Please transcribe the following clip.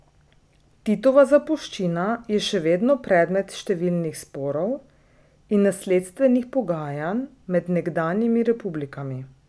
Titova zapuščina je še vedno predmet številnih sporov in nasledstvenih pogajanj med nekdanjimi republikami.